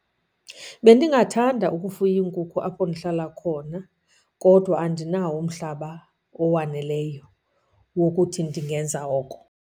Bendingathanda ukufuya iinkukhu apho ndihlala khona kodwa andinawo umhlaba owaneleyo wokuthi ndingenza oko.